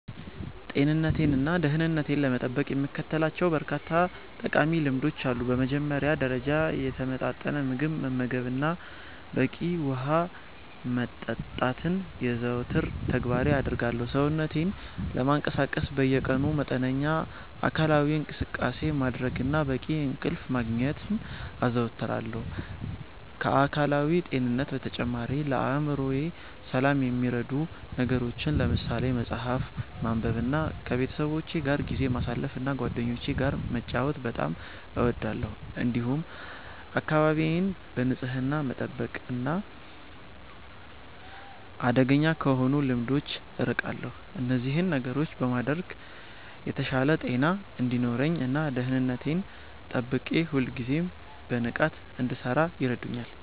ጤንነቴንና ደህንነቴን ለመጠበቅ የምከተላቸው በርካታ ጠቃሚ ልምዶች አሉ። በመጀመሪያ ደረጃ፣ የተመጣጠነ ምግብ መመገብንና በቂ ውሃ መጠጣትን የዘወትር ተግባሬ አደርጋለሁ። ሰውነቴን ለማነቃቃት በየቀኑ መጠነኛ አካላዊ እንቅስቃሴ ማድረግንና በቂ እንቅልፍ ማግኘትን አዘወትራለሁ። ከአካላዊ ጤንነት በተጨማሪ፣ ለአእምሮዬ ሰላም የሚረዱ ነገሮችን ለምሳሌ መጽሐፍ ማንበብንና ከቤተሰቦቼ ጋር ጊዜ ማሳለፍን እና ጓደኞቼ ጋር መጫወት በጣም እወዳለሁ። እንዲሁም አካባቢዬን በንጽህና መጠበቅና አደገኛ ከሆኑ ልምዶች አርቃለሁ። እነዚህን ነገሮች በማድረግ የተሻለ ጤና እንዲኖረኝ እና ደህንነቴን ጠብቄ ሁልጊዜም በንቃት እንድሠራ ይረዱኛል።